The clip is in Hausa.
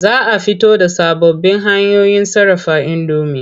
Za a fito da sababbin hanyoyin sarrafa indomi.